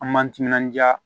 An m'an timinanja